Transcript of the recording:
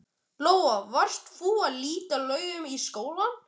Lóa: Varst þú á Litlu-Laugum í skóla?